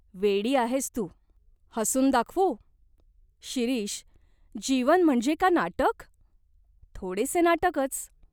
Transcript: "वेडी आहेस तू. हसून दाखवू ?" "शिरीष, जीवन म्हणजे का नाटक ?" "थोडेसे नाटकच.